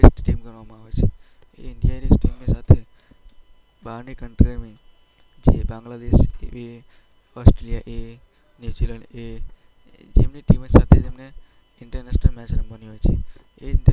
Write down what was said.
First team ગણવામાં આવે છે. ઈન્ડિયા ની ટીમ સાથે બહારની કન્ટ્રીઓની બાંગ્લાદેશ એ, ઓસ્ટ્રેલિયા એ, ન્યૂ ઝીલેન્ડ એ, એમની ટીમ સાથે એમણે ઈન્ટરનેશનલ ગેમ રમવાની હોય છે.